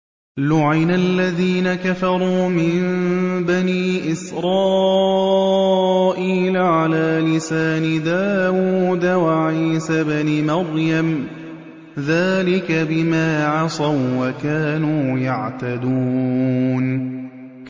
لُعِنَ الَّذِينَ كَفَرُوا مِن بَنِي إِسْرَائِيلَ عَلَىٰ لِسَانِ دَاوُودَ وَعِيسَى ابْنِ مَرْيَمَ ۚ ذَٰلِكَ بِمَا عَصَوا وَّكَانُوا يَعْتَدُونَ